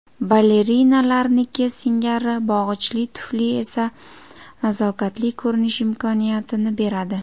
Balerinalarniki singari bog‘ichli tufli esa nazokatli ko‘rinish imkoniyatini beradi.